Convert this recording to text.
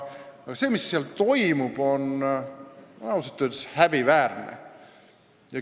Aga see, mis seal toimub, on ausalt öeldes häbiväärne.